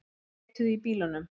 Þeir leituðu í bílunum